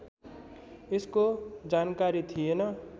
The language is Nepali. यसको जानकारी थिएन